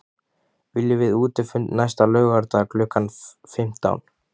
Viljum við útifund næsta laugardag klukkan fimmtán?